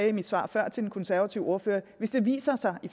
i mit svar svar til den konservative ordfører hvis det viser sig i